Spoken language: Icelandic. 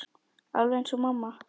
Alveg eins og mamma.